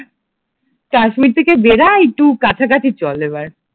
কাশ্মীর থেকে বেরা একটু কাছাকাছি চল এবার